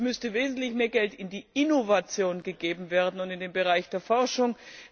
Es müsste wesentlich mehr Geld in die Innovation gegeben werden und in den Bereich der Forschung.